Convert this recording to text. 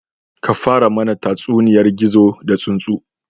Ka fara mana tatsuniyar gizo da tsuntsu